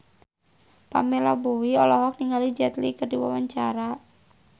Pamela Bowie olohok ningali Jet Li keur diwawancara